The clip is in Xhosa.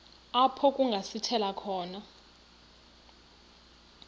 apho kungasithela khona